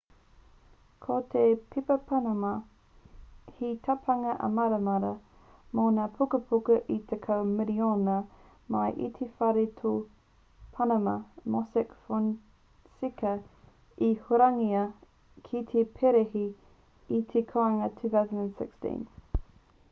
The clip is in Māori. ko te pepa panama he tapanga amarara mō ngā pukapuka e tekau miriona mai i te whare ture panama mossack fonseca i hurangia ki te perehi i te kōanga 2016